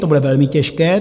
To bude velmi těžké.